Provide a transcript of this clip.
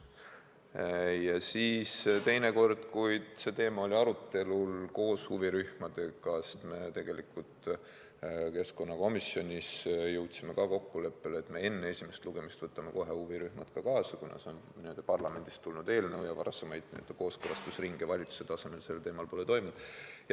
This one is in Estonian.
Teine kord, kui see teema oli arutelul koos huvirühmadega, oli siis, kui me keskkonnakomisjonis jõudsime kokkuleppele, et me enne esimest lugemist haarame kohe huvirühmad kaasa, kuna see on parlamendist tulnud eelnõu ja kooskõlastusringe valitsuse tasemel sel teemal pole toimunud.